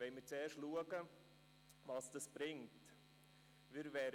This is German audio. Wir wollen zuerst schauen, was es bringen wird.